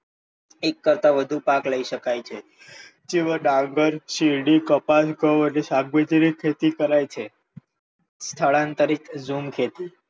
એક કરતાં વધુ પાક લઈ શકાય છે. જેવા ડાંગર, શેરડી, કપાસ, ઘઉ અને શાકભાજી ની ખેતી કરાય છે. સ્થળાંતરીત ઝૂમ ખેતી,